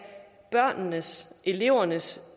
børnenes elevernes